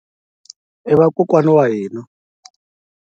I vakokwani wa hina.